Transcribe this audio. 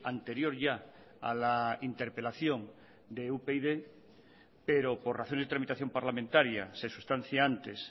anterior ya a la interpelación de upyd pero por razón de tramitación parlamentaria se sustancia antes